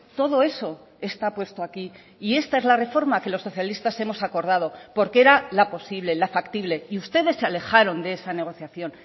todo eso está puesto aquí y esta es la reforma que los socialistas hemos acordado porque era la posible la factible y ustedes se alejaron de esa negociación